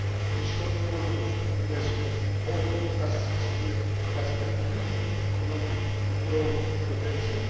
States. The shortfall of investment over the past six years has reduced economic growth potential.